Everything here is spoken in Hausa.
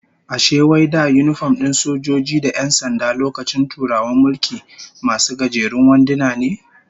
Ashe wai da yinifom din sojoji da 'yan sanda lokacin Turawan mulki, masu gajerun wanduna ne?